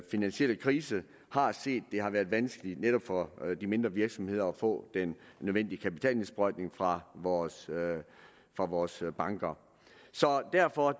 finansielle krise har set det har været vanskeligt netop for de mindre virksomheder at få den nødvendige kapitalindsprøjtning fra vores fra vores banker så derfor